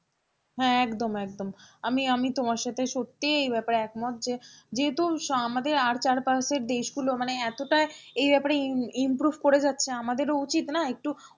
হ্যাঁ একদম একদম আমি আমি তোমার সাথে সত্যি এ ব্যাপারে একমত যে যেহেতু আমাদের আর চার পাশের দেশগুলো মানে এতটা এই ব্যাপারে im~improve করে যাচ্ছে আমাদেরও উচিত না একটু,